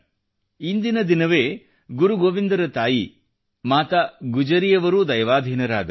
ಇಂದಿನ ದಿನವೇ ಗುರುಗೋವಿಂದರ ತಾಯಿ ಮಾತಾ ಗುಜ್ಜರಿಯವರೂ ದೈವಾಧೀನರಾದರು